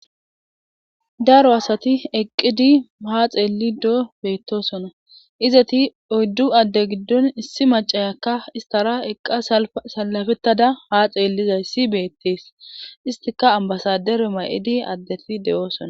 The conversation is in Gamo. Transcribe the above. daro asati eqqidi haa xeelli mdoo beettosona izati oyddu adde giddon issi macayakka istara eqqa salafettada haa xeellizayisi beettees istika ambasadero ma'idi addeti de'oosona